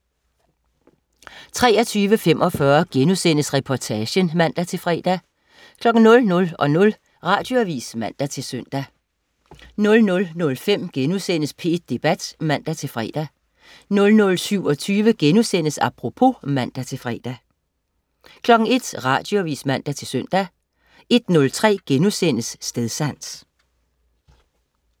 23.45 Reportagen* (man-fre) 00.00 Radioavis (man-søn) 00.05 P1 Debat* (man-fre) 00.27 Apropos* (man-fre) 01.00 Radioavis (man-søn) 01.03 Stedsans*